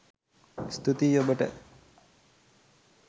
ස්තූතියි ඔබට